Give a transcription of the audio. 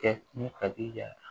Kɛ ni kadi ya ye